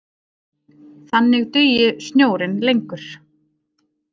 Þannig dugi snjórinn lengur